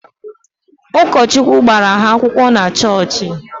Ụkọchukwu gbara ha akwụkwọ na chọọchị